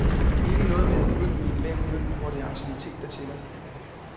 Ikke noget med at begynde med en lav løn, hvor det er anciennitet, der tæller.